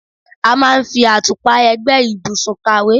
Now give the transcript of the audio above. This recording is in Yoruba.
A máa ń fi àtùpà ẹ̀gbẹ́ ìbùsùn kàwé.